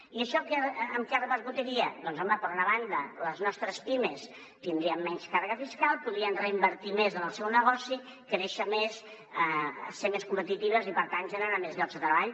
i això en què repercutiria doncs home per una banda les nostres pimes tindrien menys càrrega fiscal podrien reinvertir més en el seu negoci créixer més ser més competitives i per tant generar més llocs de treball